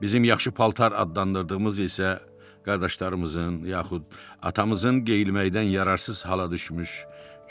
Bizim yaxşı paltar adlandırdığımız isə qardaşlarımızın, yaxud atamızın geyinməkdən yararsız hala düşmüş